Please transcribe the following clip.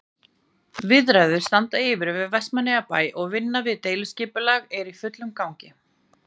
Viðræður standa yfir við Vestmannaeyjabæ og vinna við deiliskipulag í fullum gangi.